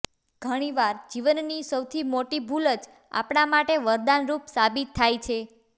ઘણીવાર જીવનની સૌથી મોટી ભુલ જ આપણા માટે વરદાન રૂપ સાબિત થાય છે